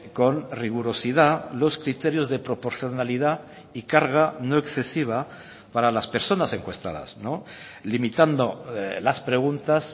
con rigurosidad los criterios de proporcionalidad y carga no excesiva para las personas encuestadas limitando las preguntas